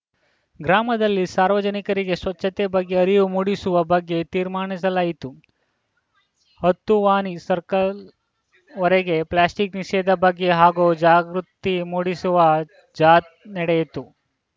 ಗ್ರಾಮದಲ್ಲಿ ಸಾರ್ವಜನಿಕರಿಗೆ ಸ್ವಚ್ಛತೆ ಬಗ್ಗೆ ಅರಿವು ಮೂಡಿಸುವ ಬಗ್ಗೆ ತೀರ್ಮಾನಿಸಲಾಯಿತು ಹತ್ತು ವಾನಿ ಸರ್ಕಲ್‌ ವರೆಗೆ ಪ್ಲಾಸ್ಟಿಕ್‌ ನಿಷೇಧ ಬಗ್ಗೆ ಹಾಗೂ ಜಾಗೃತಿ ಮೂಡಿಸುವ ಜಾಥ್ ನಡೆಯಿತು